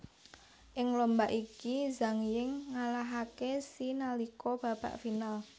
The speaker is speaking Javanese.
Ing lomba iki Zhang Ying ngalahaké Xie nalika babak final